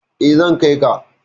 Eh, zan kai ka.